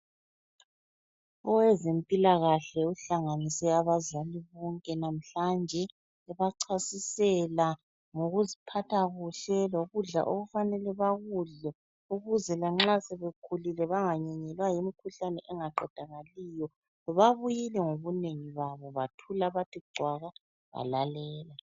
Owezempilakahle uhlanganise abazali bonke namhlanje ebachasisela ngokuziphatha kuhle lokudla okufanele bakudle ukuze lanxa sebekhulile banganyenyelwa yimikhuhlane engaqedakaliyo. Babuyile ngobunengi babo bathula bathi cwaka balalela.